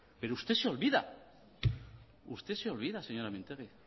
pero usted se olvida usted se olvida señora mintegi